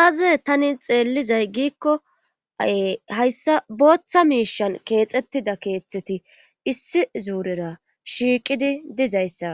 aaze tani xeellizay giikko ae hayssa booththa miishan keexettida keeththeti issi zuurera shiiqidi dizayssa